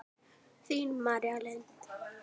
Þín, María Lind.